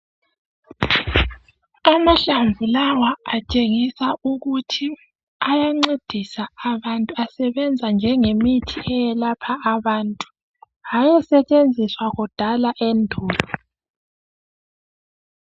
Amahlamvu lawa atshengisa ukuthi ayancedisa abantu, asebenza njengemithi eyelapha abantu. Hayesetshenziswa kudala endulo.